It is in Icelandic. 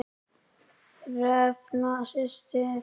Hrefna systir.